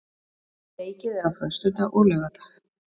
Leikið er á föstudag og laugardag.